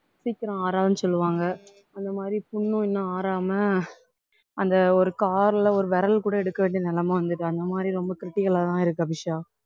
சீக்கிரம் ஆறாதுன்னு சொல்லுவாங்க அந்த மாதிரி புண்ணும் இன்னும் ஆறாம அந்த ஒரு கால்ல ஒரு விரல் கூட எடுக்க வேண்டிய நிலைமை வந்தது அந்த மாதிரி ரொம்ப critical ஆதான் இருக்கு அபிஷா